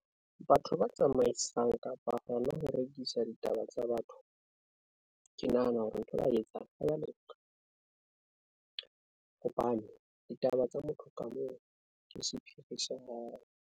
Batho ba tsamaisang kapa hona ho rekisa ditaba tsa batho, ke nahana hore ntho ba etsang ha ya loka, hobane ditaba tsa motho ka mong ke sephiri sa hae.